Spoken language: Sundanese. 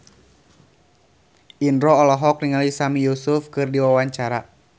Indro olohok ningali Sami Yusuf keur diwawancara